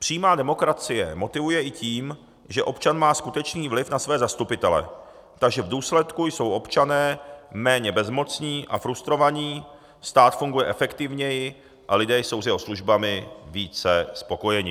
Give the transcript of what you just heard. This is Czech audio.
Přímá demokracie motivuje i tím, že občan má skutečný vliv na své zastupitele, takže v důsledku jsou občané méně bezmocní a frustrovaní, stát funguje efektivněji a lidé jsou s jeho službami více spokojeni.